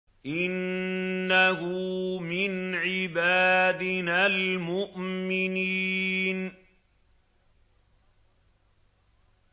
إِنَّهُ مِنْ عِبَادِنَا الْمُؤْمِنِينَ